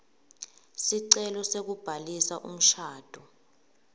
sicelo sekubhalisa umshado